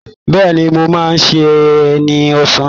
Bẹ́ẹ̀ni, mo máa sè é ní ọ̀sán